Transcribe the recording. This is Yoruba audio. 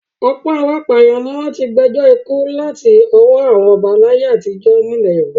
Ọ̀pọ̀ àwọn apàyàn ni wọ́n ti gbẹjọ́ ikú láti ọwọ́ àwọn ọba láyé àtijọ́ nílẹ̀ Yorùbá.